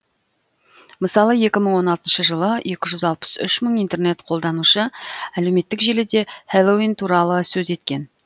мысалы екі мың он алтыншы жылы екі жүз алпыс үш мың интернет қолданушы әлеуметтік желіде хэллоуин туралы сөз еткен